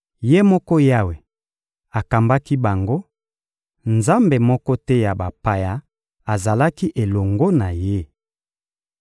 Ye moko Yawe akambaki bango; nzambe moko te ya bapaya azalaki elongo na Ye.